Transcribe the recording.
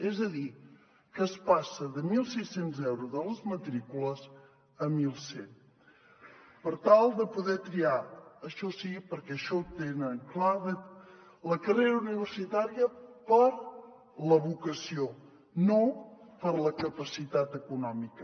és a dir que es passa de mil sis cents euros de les matrícules a mil cent per tal de poder triar això sí perquè això ho tenen clar la carrera universitària per la vocació no per la capacitat econòmica